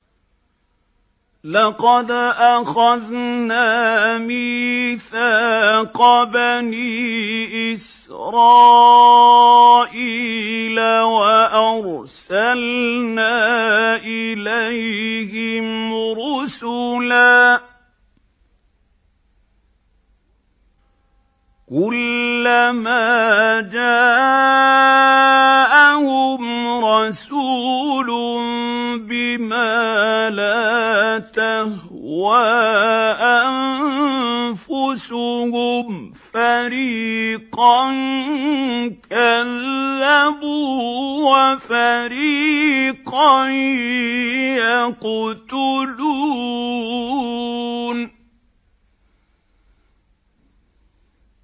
لَقَدْ أَخَذْنَا مِيثَاقَ بَنِي إِسْرَائِيلَ وَأَرْسَلْنَا إِلَيْهِمْ رُسُلًا ۖ كُلَّمَا جَاءَهُمْ رَسُولٌ بِمَا لَا تَهْوَىٰ أَنفُسُهُمْ فَرِيقًا كَذَّبُوا وَفَرِيقًا يَقْتُلُونَ